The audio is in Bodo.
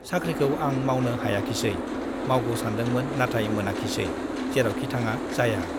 साख्रिखौ आं मावनो हायाखिसै, मावगौ सानदोंमोन , नाथाय मोनाखिसै , जेरावखि थाङा जाया ।